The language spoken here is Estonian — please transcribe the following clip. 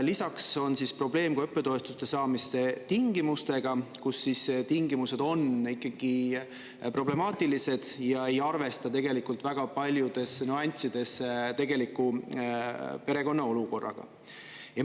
Lisaks on probleem ka õppetoetuste saamise tingimustega, kus tingimused on ikkagi problemaatilised ja ei arvesta tegelikult väga paljudes nüanssides tegeliku perekonna olukorraga.